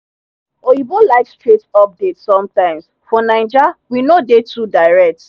oyinbo like straight update sometimes for naija we no dey too direct